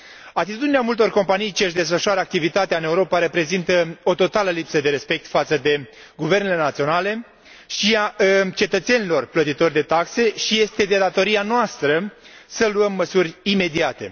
Atitudinea multor companii ce și desfășoară activitatea în Europa reprezintă o totală lipsă de respect față de guvernele naționale și de cetățenii plătitori de taxe și este de datoria noastră să luăm măsuri imediate.